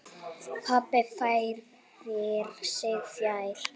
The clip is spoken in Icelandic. Pabbi færir sig fjær.